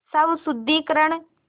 स्वशुद्धिकरण